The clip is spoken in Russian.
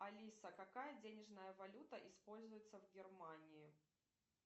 алиса какая денежная валюта используется в германии